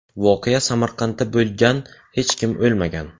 Voqea Samarqandda bo‘lgan, hech kim o‘lmagan.